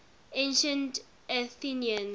ancient athenians